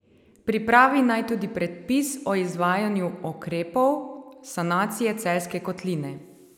Pripravi naj tudi predpis o izvajanju ukrepov sanacije Celjske kotline.